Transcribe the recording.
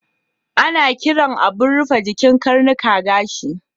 Ana kiran abun rufe jikin karnuka gashi.